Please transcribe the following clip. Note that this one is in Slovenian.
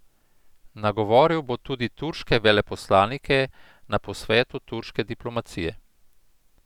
Nagovoril bo tudi turške veleposlanike na posvetu turške diplomacije.